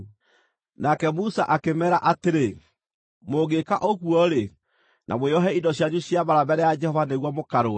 Nake Musa akĩmeera atĩrĩ, “Mũngĩĩka ũguo-rĩ, na mwĩohe indo cianyu cia mbaara mbere ya Jehova nĩguo mũkarũe,